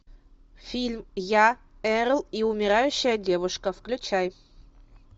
фильм я эрл и умирающая девушка включай